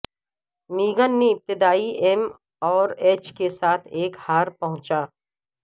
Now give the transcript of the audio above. میگن نے ابتدائی ایم اور ایچ کے ساتھ ایک ہار پہنچا